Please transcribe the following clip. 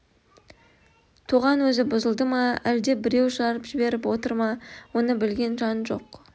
тоған өзі бұзылды ма әлде біреу жырып жіберіп отыр ма оны білген жан жоқ